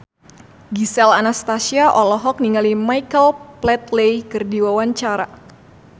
Gisel Anastasia olohok ningali Michael Flatley keur diwawancara